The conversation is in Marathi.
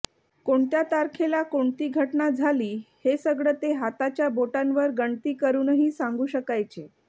कोणत्या तारखेला कोणती घटना झाली हे सगळं ते हाताच्या बोटांवर गणती करूनही सांगू शकायचे